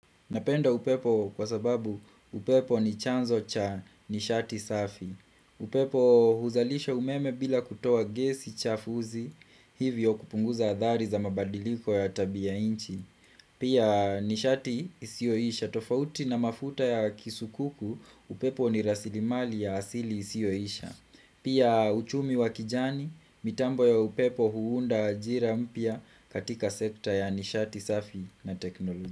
Napenda upepo kwa sababu upepo ni chanzo cha nishati safi. Upepo huzalisha umeme bila kutoa gesi chafuzi hivyo kupunguza adhari za mabadiliko ya tabia inchi. Pia nishati isioisha tofauti na mafuta ya kisukuku upepo ni rasilimali ya asili isioisha. Pia uchumi wa kijani mitambo ya upepo huunda ajira mpya katika sekta ya nishati safi na teknoloji.